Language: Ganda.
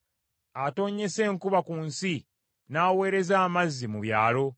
Atonnyesa enkuba ku nsi, n’aweereza amazzi mu byalo.